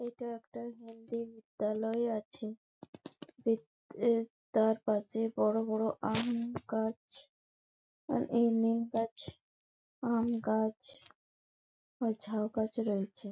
এইটা একটা মুন্দির বিদ্যালয় আছে। এ তার পাশে বড় বড় আম গাছ আর এই নিম গাছ আম গাছ ও ঝাউ গাছ রয়েছে ।